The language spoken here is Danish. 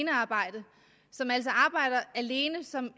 arbejder alene som